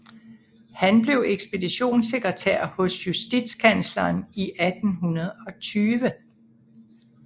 Han blev ekspeditionssekretær hos justitskansleren 1820